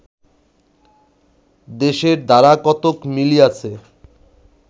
দেশের ধারা কতক মিলিয়াছে